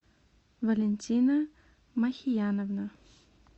валентина махияновна